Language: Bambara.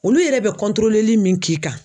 Olu yɛrɛ bɛ min k'i kan